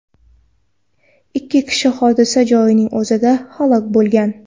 Ikki kishi hodisa joyining o‘zida halok bo‘lgan.